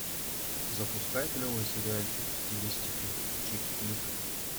запускай клевый сериальчик в стилистике чик флика